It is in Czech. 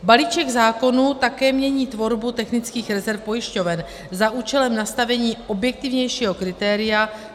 Balíček zákonů také mění tvorbu technických rezerv pojišťoven za účelem nastavení objektivnějšího kritéria.